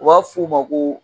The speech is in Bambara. O b'a f'i ma ko.